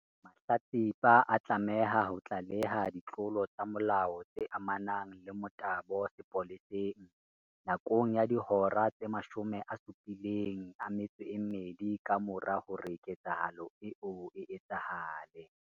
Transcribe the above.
Mahlatsipa a tlameha ho tlaleha ditlolo tsa molao tse amanang le motabo sepoleseng, nakong ya dihora tse 72 kamora hore ketsahalo eo e etsahale.